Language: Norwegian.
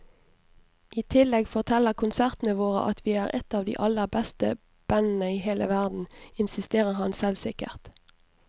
I tillegg forteller konsertene våre at vi er et av de aller beste bandene i hele verden, insisterer han selvsikkert.